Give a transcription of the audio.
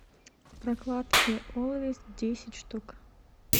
прокладки олвейс десять штук